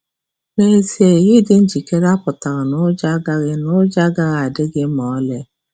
Nezie, ịdị njikere apụtaghị na ụjọ agaghị na ụjọ agaghị adị gị ma ọlị.